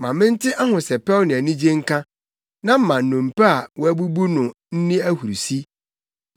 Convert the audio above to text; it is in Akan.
Ma mente ahosɛpɛw ne anigye nka; na ma nnompe a woabubu no nni ahurusi.